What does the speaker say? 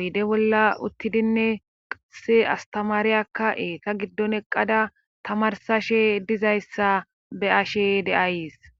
oyde bolla uttidinne qase astamaariyakka eeta giddon eqqada tamarsashe dizayssa be'ashe de'ayys